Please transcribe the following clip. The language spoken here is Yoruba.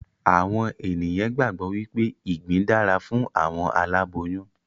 Àwọn ènìyàn gbàgbọ́ wípé ìgbín dára fún àwọn aláboyún